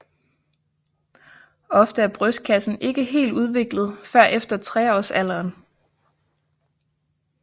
Ofte er brystkassen ikke helt udviklet før efter treårsalderen